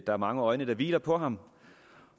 er mange øjne der hviler på ham